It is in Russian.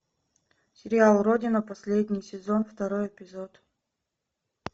сериал родина последний сезон второй эпизод